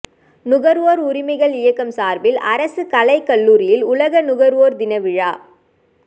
நுகர்வோர் உரிமைகள் இயக்கம் சார்பில் அரசு கலைக்கல்லூரியில் உலக நுகர்வோர் தினவிழா